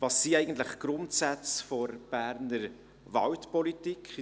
Was sind eigentlich die Grundsätze der Berner Waldpolitik?